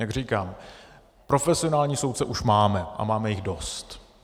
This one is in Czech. Jak říkám, profesionální soudce už máme a máme jich dost.